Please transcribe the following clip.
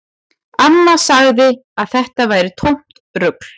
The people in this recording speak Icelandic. Amma sagði að þetta væri tómt rugl